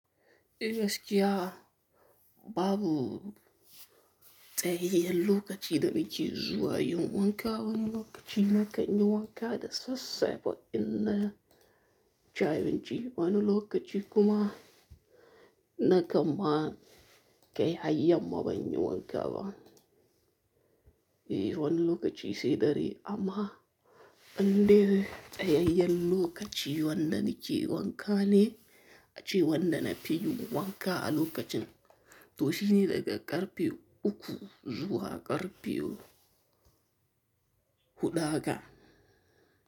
Eh gaskiya babu tsayayyen lokaci da nake zuwa yin wanka. Wani lokaci na kan yi wanka da sassafe in naci abinci. Wani lokaci kuma na kamma kai har yamma ban yi wanka ba. Eh wani lokaci sai dare amma in dai tsayayyen lokaci wanda nake wanka ne ace wanda na fi yi wanka a lokacin toshine daga karfe uku zuwa karfe huɗu haka.